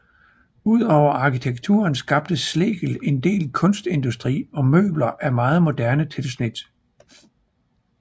Ud over arkitekturen skabte Schlegel en del kunstindustri og møbler af meget moderne tilsnit